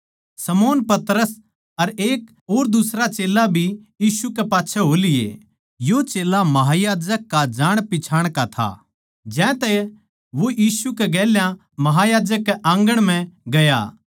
शमौन पतरस अर एक और दुसरा चेल्ला भी यीशु कै पाच्छै हो लिए यो चेल्ला महायाजक का जाणपिच्छाण का था ज्यांतै वो यीशु कै गेल्या महायाजक कै आँगण म्ह गया